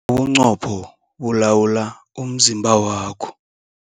Ubuqopho bulawula umzimba wakho.